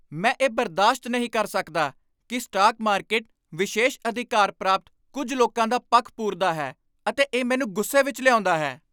ਮੈਂ ਇਹ ਬਰਦਾਸ਼ਤ ਨਹੀਂ ਕਰ ਸਕਦਾ ਕਿ ਸਟਾਕ ਮਾਰਕੀਟ ਵਿਸ਼ੇਸ਼ ਅਧਿਕਾਰ ਪ੍ਰਾਪਤ ਕੁੱਝ ਲੋਕਾਂ ਦਾ ਪੱਖ ਪੂਰਦਾ ਹੈ ਅਤੇ ਇਹ ਮੈਨੂੰ ਗੁੱਸੇ ਵਿੱਚ ਲਿਆਉਂਦਾ ਹੈ।